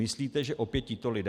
Myslíte, že opět tito lidé?